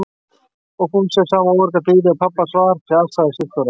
Og Fúsi er sama óargadýrið og pabbi hans var fjasaði Sigþóra.